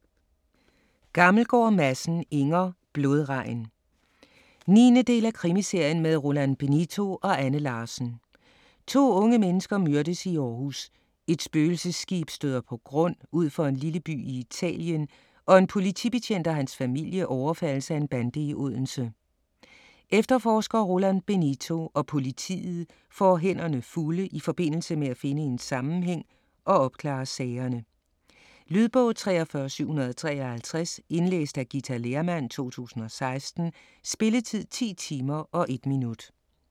Gammelgaard Madsen, Inger: Blodregn 9. del af Krimiserien med Roland Benito og Anne Larsen. To unge mennesker myrdes i Aarhus, et spøgelsesskib støder på grund ud for en lille by i Italien og en politibetjent og hans familie overfaldes af en bande i Odense. Efterforsker Roland Benito og politiet får hænderne fulde i forbindelse med at finde en sammenhæng og opklare sagerne. Lydbog 43753 Indlæst af Ghita Lehrmann, 2016. Spilletid: 10 timer, 1 minut.